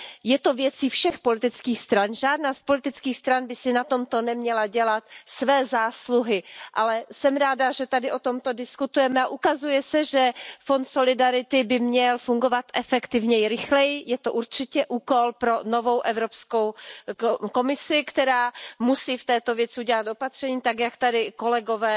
je věcí všech politických stran. Žádná z politických stran by si na tomto neměla dělat své zásluhy, ale jsem ráda, že tady o tomto diskutujeme, a ukazuje se, že Fond solidarity by měl fungovat efektivněji, rychleji, je to určitě úkol pro novou Evropskou komisi, která musí v této věci udělat opatření, tak jak tady kolegové